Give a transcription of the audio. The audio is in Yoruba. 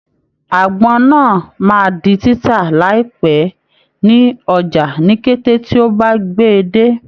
Àgbọn náà máa di títà láìpẹ́ ní ọjà ni kété tí ó bá gbè e dé.